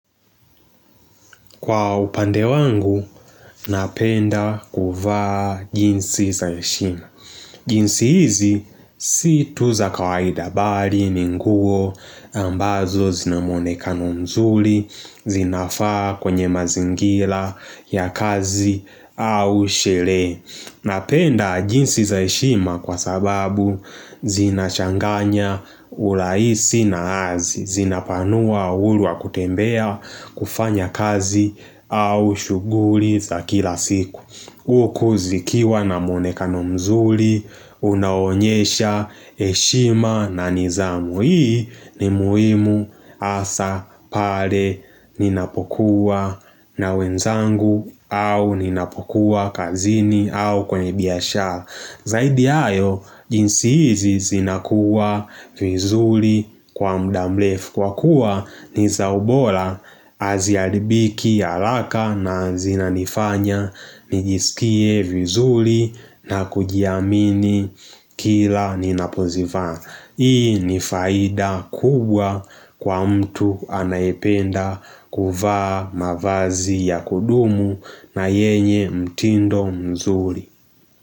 Kwa upande wangu, napenda kuvaa jinsi za heshima. Jinsi hizi si tu za kawaida bali, ni nguo, ambazo zina mwonekano mzuri, zinafaa kwenye mazingira ya kazi au shule Napenda jeans za heshima kwa sababu zinachanganya urahisi na azi. Zinapanua uhuru wa kutembea, kufanya kazi au shughuli za kila siku Huku zikiwa na mwonekano mzuri, unaonyesha, heshima na nidhamu. Hii ni muhimu hasa pale ninapokuwa na wenzangu au ninapokuwa kazini au kwenye biashara Zaidi ya hayo jeans hizi zinakuwa vizuri kwa muda mrefu kwa kuwa ni za ubora, haziharibiki haraka na zinanifanya nijisikie vizuri na kujiamini kila ninapozivaa. Hii ni faida kubwa kwa mtu anayependa kuvaa mavazi ya kudumu na yenye mtindo mzuri.